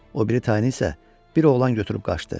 O biri tayını isə bir oğlan götürüb qaçdı.